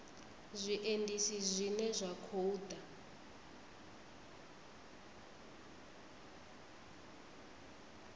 zwiendisi zwine zwa khou ḓa